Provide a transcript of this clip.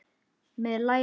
Með lærin í skónum.